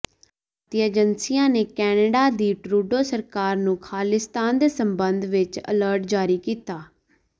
ਭਾਰਤੀ ਏਜੰਸੀਆਂ ਨੇ ਕੈਨੇਡਾ ਦੀ ਟਰੂਡੋ ਸਰਕਾਰ ਨੂੰ ਖ਼ਾਲਿਸਤਾਨੀਆਂ ਦੇ ਸਬੰਧ ਵਿਚ ਅਲਰਟ ਜਾਰੀ ਕੀਤਾ